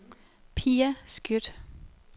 Pia Skjødt